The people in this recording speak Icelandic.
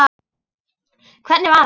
Hvernig var hann?